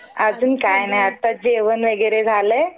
अजून काही नाही आता जेवण वगैरे झालंय